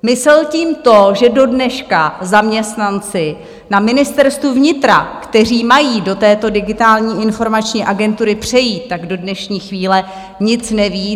Myslel tím to, že dodneška zaměstnanci na Ministerstvu vnitra, kteří mají do této Digitální informační agentury přejít, do dnešní chvíle nic neví?